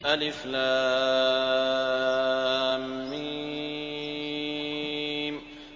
الم